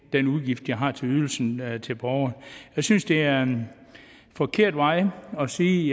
den udgift de har til ydelsen til borgeren jeg synes det er en forkert vej at sige